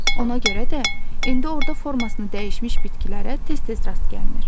Ona görə də indi orda formasını dəyişmiş bitkilərə tez-tez rast gəlinir.